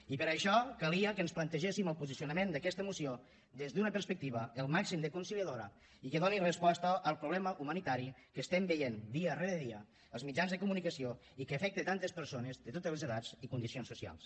i per això calia que ens plantegéssim el posicionament d’aquesta moció des d’una perspectiva al màxim de conciliadora i que doni resposta al problema humanitari que estem veient dia rere dia als mitjans de comunicació i que afecta tantes persones de totes les edats i condicions socials